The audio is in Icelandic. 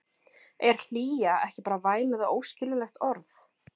Er hlýja ekki bara væmið og óskiljanlegt orð?